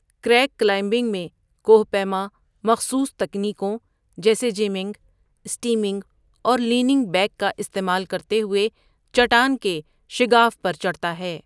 Crack climbing میں، کوہ پیما مخصوص تکنیکوں جیسے جیمنگ، اسٹیمنگ اور لیینگ بیک کا استعمال کرتے ہوئے چٹان کے شگاف پر چڑھتا ہے۔